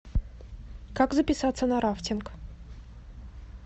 как записаться на рафтинг